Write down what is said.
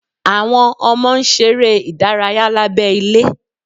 Àwọn ọmọ ń ṣeré ìdárayá lábẹ́ ilé